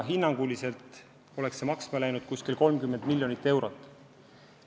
Hinnanguliselt oleks see maksma läinud 30 miljonit eurot.